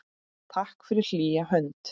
Takk fyrir hlýja hönd.